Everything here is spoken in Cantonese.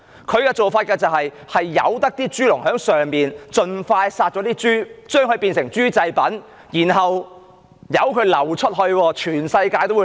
大陸政府任由豬農盡快屠殺豬隻以製成豬製品，並流出全世界。